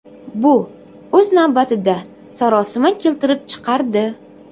Bu, o‘z navbatida, sarosima keltirib chiqardi.